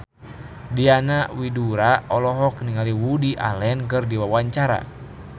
Diana Widoera olohok ningali Woody Allen keur diwawancara